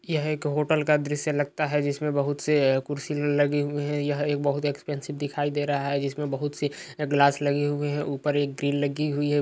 यह एक होटल का दृश्य लगता है जिसमें बहोत से कुर्सी लगे हुए हैं। एक बहोत इक्स्पेन्सिव दिखाई दे रहा है जिसमें बहोत से अ ग्लास लगे हुए हैं। ऊपर एक ग्रिल लगी हुई है।